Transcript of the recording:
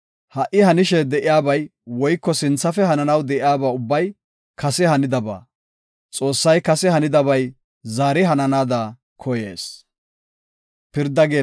Ha77i hanishe de7iyabay woyko sinthafe hananaw de7iyaba ubbay kase hanidaba; Xoossay kase hanidabay zaari hananaada koyees.